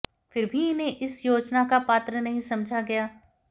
फिर भी इन्हें इस योजना का पात्र नहीं समझा गया